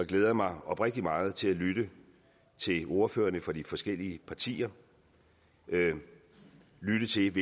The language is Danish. glæder mig oprigtig meget til at lytte til ordførerne for de forskellige partier og lytte til